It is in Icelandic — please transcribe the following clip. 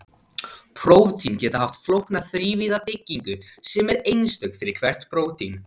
prótín geta haft flókna þrívíða byggingu sem er einstök fyrir hvert prótín